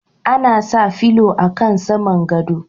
Ana sa filo a kan saman godo.